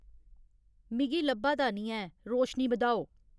मिगी लब्भा दा नेईं ऐ, रोशनी बधाओ